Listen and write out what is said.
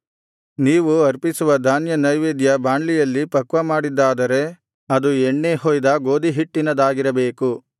ನೀವು ಅರ್ಪಿಸುವ ಧಾನ್ಯ ನೈವೇದ್ಯ ಬಾಂಡ್ಲಿಯಲ್ಲಿ ಪಕ್ವಮಾಡಿದ್ದಾದರೆ ಅದು ಎಣ್ಣೆ ಹೊಯ್ದ ಗೋದಿಹಿಟ್ಟಿನದಾಗಿರಬೇಕು